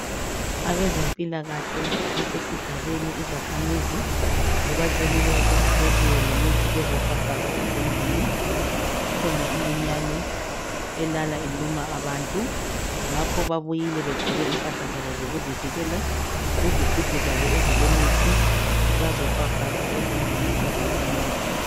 Abezempilakahle basesigabeni, izakhamizi zibacelile ukuthi bebuye lemithi bezofafaza ezindlini kukhona iminyane elala iluma abantu. Ngakho babuyile begqoke impahla zabo zokuzivikela, izigubhu zabo ezilemithi bazofafaza ezindlini zezakhamizi.